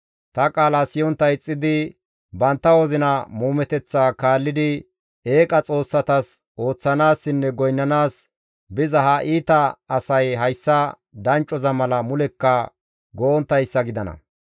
Ta qaala siyontta ixxidi, bantta wozina muumeteththa kaallidi, eeqa xoossatas ooththanaassinne goynnanaas biza ha iita asay hayssa danccoza mala mulekka go7onttayssa gidana.